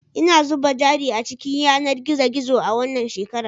Ina zuba jari a cikin yanar gizo gizo a wannan shekara